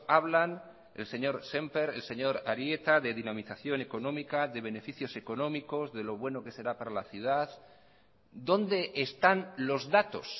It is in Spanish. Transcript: hablan el señor sémper el señor arieta de dinamización económica de beneficios económicos de lo bueno que será para la ciudad dónde están los datos